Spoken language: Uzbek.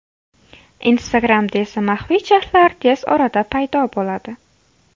Instagram’da esa maxfiy chatlar tez orada paydo bo‘ladi.